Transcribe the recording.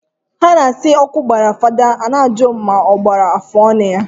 Ha na asi na oku gbara father i na aju ma ogbakwara ma afuonu ya.